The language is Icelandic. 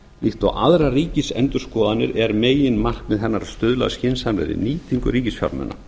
líkt og aðrar ríkisendurskoðanir er meginmarkmið hennar að stuðla að skynsamlegri nýtingu ríkisfjármuna